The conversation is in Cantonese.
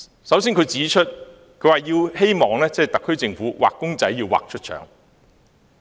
首先，他希望特區政府"畫公仔畫出腸"。